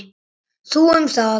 Þú um það.